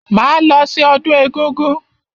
Máa lọ sí ọdún egúngún.